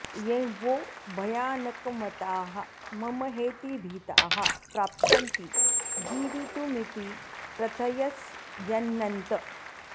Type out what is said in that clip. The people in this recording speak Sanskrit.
यें वो भयानकमताः मम हेतिभीताः प्राप्स्यन्ति जीवितुमिति प्रथयस्यनन्त